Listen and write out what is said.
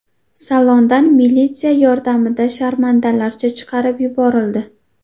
Salondan militsiya yordamida sharmandalarcha chiqarib yuborildi.